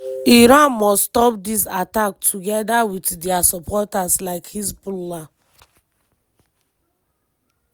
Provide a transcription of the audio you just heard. iran must stop diz attacks togeda wit dia supporters like hezbollah."